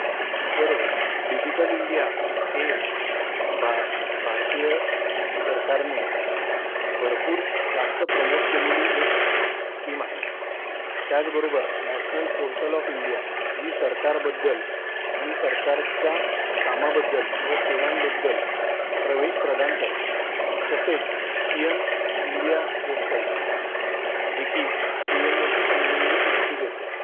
बरोबर, digital India हे भारतीय सरकारने भरपूर जास्त प्रोमोट केलेली एक स्कीम आहे. त्याच बरोबर नॅशनल पोर्टल ऑफ इंडिया जी सरकार बद्दल आणि सरकारच्या कामाबद्दल व सेवांबद्दल प्रवेश प्रदान करते. तसेच पीएम इंडिया वेबसाईट जी कि पीएमओ शी संबंधित माहिती देते.